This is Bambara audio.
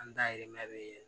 An dayirimɛ be ye